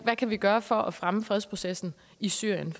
vi kan gøre for at fremme fredsprocessen i syrien